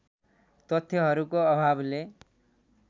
तथ्यहरूको अभावले